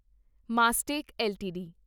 Mastek LTD